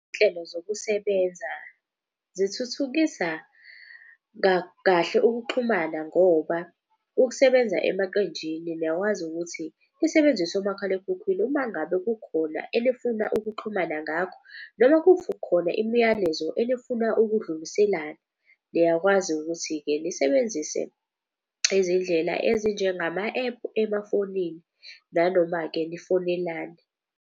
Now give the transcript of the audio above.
Izinhlelo zokusebenza zithuthukisa kahle ukuxhumana ngoba ukusebenza emaqenjini. Niyakwazi ukuthi nisebenzise omakhalekhukhwini uma ngabe kukhona enifuna ukuxhumana ngakho. Noma kukhona imiyalezo enifuna ukudluliselana, niyakwazi ukuthi-ke nisebenzise izindlela ezinjengama ephu emafonini. Nanoma-ke nifonelane.